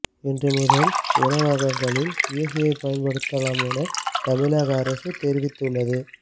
இன்று முதல் உணவகங்களில் ஏசியை பயன்படுத்தலாம் என தமிழக அரசு தெரிவித்துள்ளது